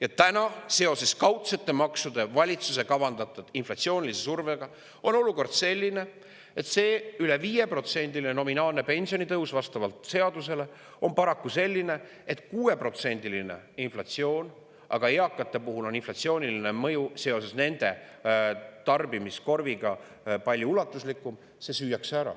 Ja täna on seoses valitsuse kavandatud kaudsete maksude inflatsioonilise survega olukord selline, et see vastavalt seadusele üle 5%‑line nominaalne pensionitõus süüakse ära, sest on 6%‑line inflatsioon ning eakate puhul on inflatsiooniline mõju seoses nende tarbimiskorviga palju ulatuslikum.